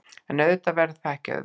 En auðvitað verður það ekki auðvelt